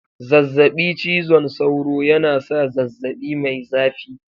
Zazzabi cizon sauro yana sa zazzabi mai zafi